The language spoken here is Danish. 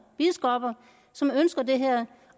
biskopper som ønsker det her